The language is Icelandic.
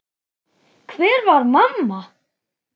Hvar var mamma?